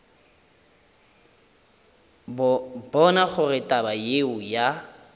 bona gore taba yeo ya